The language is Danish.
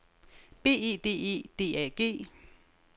B E D E D A G